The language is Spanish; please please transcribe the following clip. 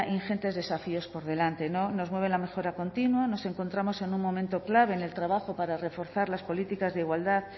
ingentes desafíos por delante nos mueve la mejora continua nos encontramos en un momento clave en el trabajo para reforzar las políticas de igualdad